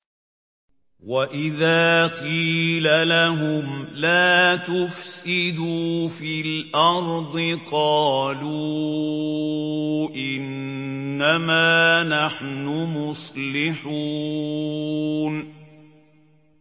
وَإِذَا قِيلَ لَهُمْ لَا تُفْسِدُوا فِي الْأَرْضِ قَالُوا إِنَّمَا نَحْنُ مُصْلِحُونَ